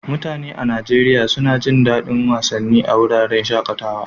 Mutane a Najeriya suna jin daɗin yin wasanni a wuraren shaƙatawa.